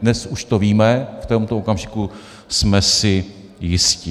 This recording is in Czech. Dnes už to víme, v tomto okamžiku jsme si jisti.